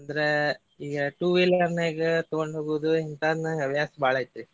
ಅಂದ್ರ ಈಗ two wheeler ನ್ಯಾಗ ತಗೊಂಡ್ ಹೋಗುದು ಇಂತಾದ್ ನಂಗ್ ಹವ್ಯಾಸ ಬಾಳ ಐತ್ರಿ.